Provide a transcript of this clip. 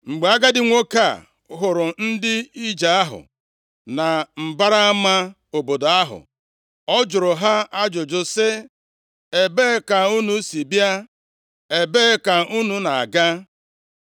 Mgbe agadi nwoke a hụrụ ndị ije ahụ na mbara ama obodo ahụ, ọ jụrụ ha ajụjụ sị, “Ebee ka unu si bịa? Ebee ka unu na-aga?”